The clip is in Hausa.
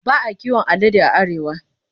Ba a kiwon alade a Arewa.